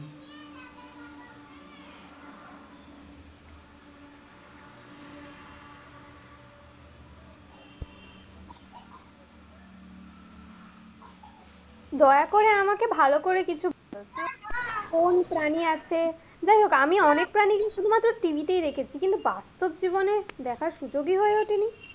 দোয়া করে আমাকে ভালো করে, কোন প্রাণী আছে, যাই হোক আমি অনেক প্রাণী শুধুমাত্র TV তেই দেখেছি কিন্তু বাস্তব জীবনে দেখার সুযোগই ওঠে নি.